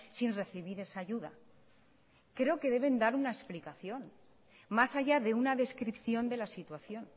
sin recibir esa ayuda creo que deben dar una explicación más allá de una descripción de la situación